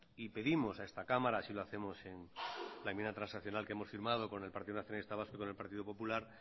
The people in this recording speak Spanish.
y pedimos a esta cámara así lo hacemos en la enmienda transaccional que hemos firmado con el partido nacionalista vasco y con el partido popular